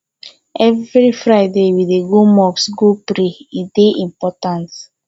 every friday we dey go mosque go pray e dey important